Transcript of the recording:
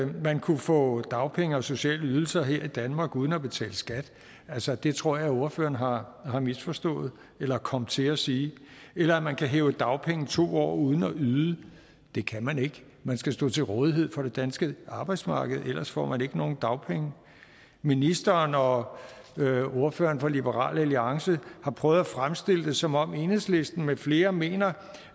man kunne få dagpenge og sociale ydelser her i danmark uden at betale skat altså det tror jeg ordføreren har har misforstået eller kom til at sige eller at man kan hæve dagpenge i to år uden at yde det kan man ikke man skal stå til rådighed for det danske arbejdsmarked ellers får man ikke nogen dagpenge ministeren og ordføreren for liberal alliance har prøvet at fremstille det som om enhedslisten med flere mener